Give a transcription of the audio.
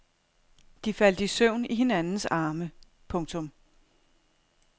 De faldt i søvn i hinandens arme. punktum